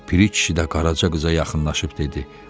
Piri kişi də Qaraca qıza yaxınlaşıb dedi: